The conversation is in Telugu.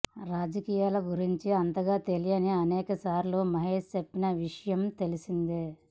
రాజకీయాల గురించి అంతగా తెలియదని అనేకసార్లు మహేష్ చెప్పిన విషయం తెలిసిందే